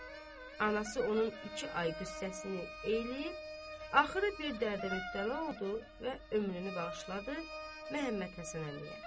Anası onun iki ay qız səssini eləyib, axırı bir dərdə mübtəla oldu və ömrünü bağışladı Məhəmməd Həsən əmiyə.